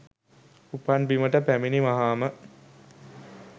උපන් බිමට පැමිණි වහාම